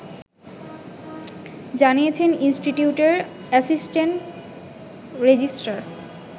জানিয়েছেন ইনস্টিটিউটের assistant register